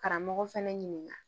Karamɔgɔ fɛnɛ ɲininka